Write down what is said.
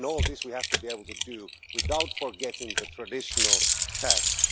All this we have to be able to do without forgetting the traditional tasks.